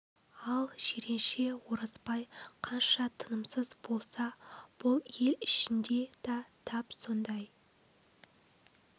ал жиренше орызбай қанша тынымсыз болса бұл ел ішінде да тап сондай